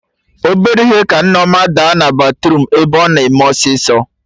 Obere ihe ka Nneọma daa na batruum ebe ọ na eme ọsịsọ